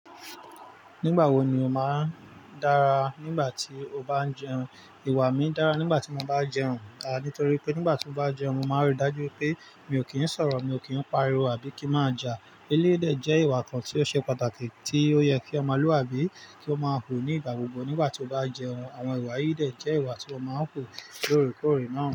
Nígbà wo ni o máa ń dára nígbà tí o bá ń jẹun? Iwá mi dára nígbà tí mo bá jẹun à, nítorí pé nígbà tí mo bá jẹun, mo máa rí dájú wipé mi ò kí ń sọ̀rọ̀, mi ò kí ń pariwo àbí kí má ja. Eléyi dẹ́ je ìwà kan tí ó ṣe pàtàkì tí ó yẹ kí ọmọlúàbí kí ó má wù nígbà gbogbo nígbà tí ó bá jẹun. Àwọn ìwà yìí de jẹ́ ìwà tí mo máa ń wu lóorekóòré náà.